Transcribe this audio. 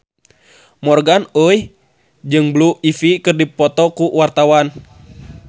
Morgan Oey jeung Blue Ivy keur dipoto ku wartawan